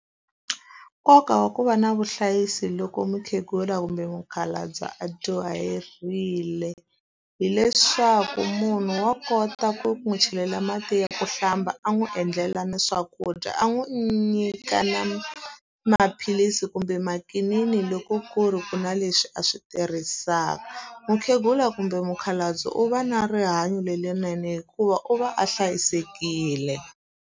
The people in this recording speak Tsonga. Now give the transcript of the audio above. Nkoka wa ku va na vuhlayisi loko mukhegula kumbe mukhalabye a dyoherile, hileswaku munhu wa kota ku n'wi chelela mati ya ku hlamba, a n'wi endlela na swakudya, a n'wi nyika na maphilisi kumbe makinini loko ku ri ku na leswi a swi tirhisaka. Mukhegula kumbe mukhalabye u va na rihanyo lerinene hikuva u va a hlayisekile.